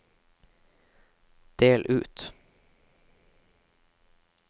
del ut